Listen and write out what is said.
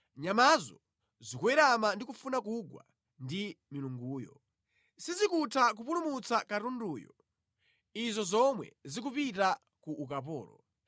Nyamazo zikuwerama ndi kufuna kugwa ndi milunguyo; sizikutha kupulumutsa katunduyo, izo zomwe zikupita ku ukapolo.